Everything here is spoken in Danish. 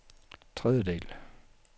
tredjedel